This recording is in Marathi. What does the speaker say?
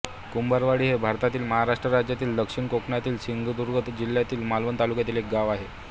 कुंभारवाडी हे भारतातील महाराष्ट्र राज्यातील दक्षिण कोकणातील सिंधुदुर्ग जिल्ह्यातील मालवण तालुक्यातील एक गाव आहे